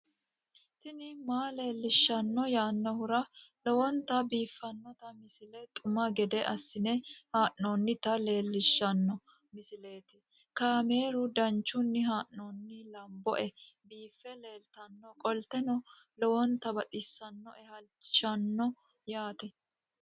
tini maa leelishshanno yaannohura lowonta biiffanota misile xuma gede assine haa'noonnita leellishshanno misileeti kaameru danchunni haa'noonni lamboe biiffe leeeltannoqolten lowonta baxissannoe halchishshanno yaate